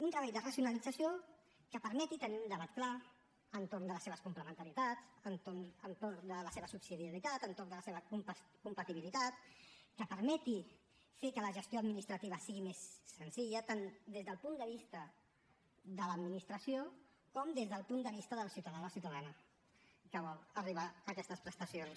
un treball de racionalització que permeti tenir un debat clar entorn de les seves complementarietats entorn de la seva subsidiarietat entorn de la seva compatibilitat que permeti fer que la gestió administrativa sigui més senzilla tant des del punt de vista de l’administració com des del punt de vista del ciutadà o la ciutadana que vol arribar a aquestes prestacions